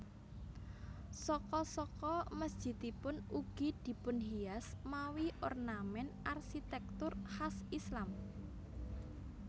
Saka saka mesjidipun ugi dipunhias mawi ornament arsitektur khas Islam